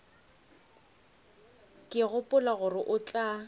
ke gopola gore o tla